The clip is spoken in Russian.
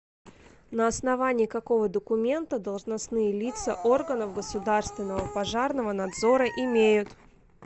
на основании какого документа должностные лица органов государственного пожарного надзора имеют